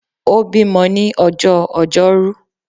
Ó bímo ní ọjọ́ ojọ́rú